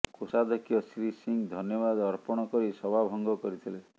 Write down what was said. କୋଷାଧକ୍ଷ ଶ୍ରୀ ସିଂହ ଧନ୍ୟବାଦ୍ ଅର୍ପଣ କରି ସଭା ଭଙ୍ଗ କରିଥିଲେ